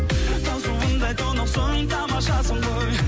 тау суындай тұнықсың тамашасың ғой